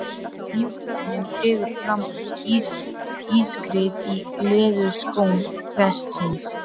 mjúk þögnin dregur fram ískrið í leðurskóm prestsins.